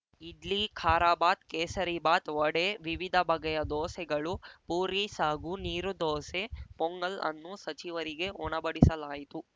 ಇಡ್ಲಿ ಖಾರಾಬಾತ್‌ ಕೇಸರಿಬಾತ್‌ ವಡೆ ವಿವಿಧ ಬಗೆಯ ದೋಸೆಗಳು ಪೂರಿಸಾಗು ನೀರು ದೋಸೆ ಪೊಂಗಲ್‌ ಅನ್ನು ಸಚಿವರಿಗೆ ಉಣಬಡಿಸಲಾಯಿತು